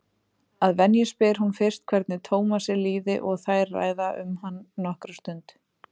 Að venju spyr hún fyrst hvernig Tómasi líði og þær ræða um hann nokkra stund.